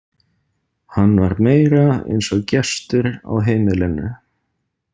Hann var meira eins og gestur á heimilinu.